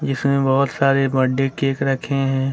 जिसमें बहुत सारे बर्थडे केक रखे हैं।